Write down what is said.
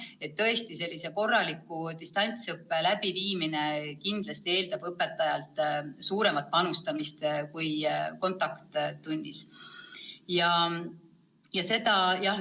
Nii et tõesti, korraliku distantsõppe läbiviimine kindlasti eeldab õpetajalt suuremat panust kui kontakttundides.